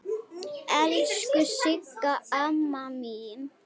Elsku Sigga amma mín.